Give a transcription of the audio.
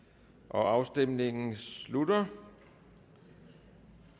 afstemningen slutter